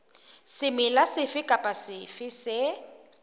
semela sefe kapa sefe se